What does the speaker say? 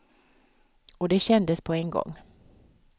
Och det kändes på en gång.